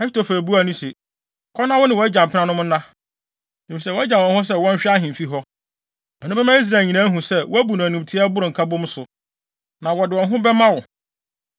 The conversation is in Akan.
Ahitofel buaa no se, “Kɔ na wo ne wʼagya mpenanom no nna, efisɛ wagyaw wɔn hɔ sɛ wɔnhwɛ ahemfi hɔ. Ɛno bɛma Israel nyinaa ahu sɛ, woabu no animtiaa a ɛboro nkabom so, na wɔde wɔn ho bɛma wo.”